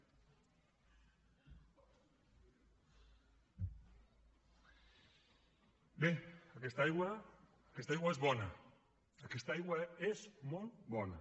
bé aquesta aigua és bona aquesta aigua és molt bona